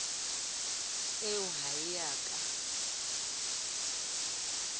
eo ha e a ka